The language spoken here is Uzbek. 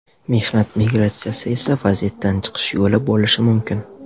Mehnat migratsiyasi esa vaziyatdan chiqish yo‘li bo‘lishi mumkin.